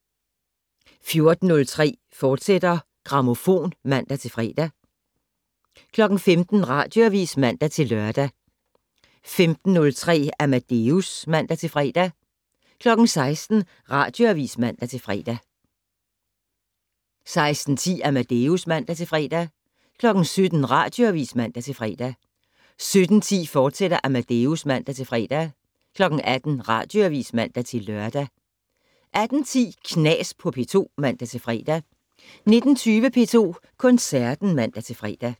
14:03: Grammofon, fortsat (man-fre) 15:00: Radioavis (man-lør) 15:03: Amadeus (man-fre) 16:00: Radioavis (man-fre) 16:10: Amadeus (man-fre) 17:00: Radioavis (man-fre) 17:10: Amadeus, fortsat (man-fre) 18:00: Radioavis (man-lør) 18:10: Knas på P2 (man-fre) 19:20: P2 Koncerten (man-fre)